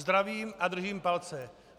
Zdravím a držím palce.